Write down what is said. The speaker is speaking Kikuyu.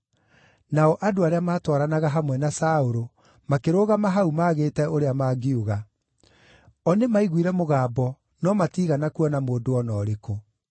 Nao andũ arĩa maatwaranaga hamwe na Saũlũ makĩrũgama hau maagĩte ũrĩa mangiuga; o nĩmaiguire mũgambo no matiigana kuona mũndũ o na ũrĩkũ.